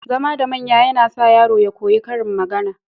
Zama da manya yAna sa yaro ya koyi karin magAna